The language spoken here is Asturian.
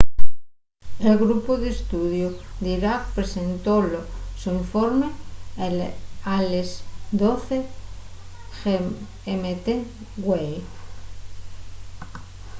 el grupu d’estudiu d’iraq presentó’l so informe a les 12:00 gmt güei